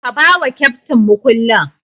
Ka bawa keftin mukullin.